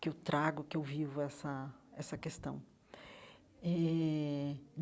que eu trago, que eu vivo essa essa questão eh.